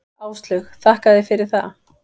Áslaug: Þakka þér fyrir það.